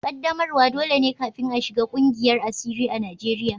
Ƙaddamarwa dole ne kafin a shiga ƙungiyar asiri a Najeriya